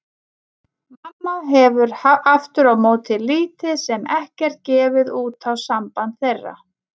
Mamma hefur aftur á móti lítið sem ekkert gefið út á samband þeirra.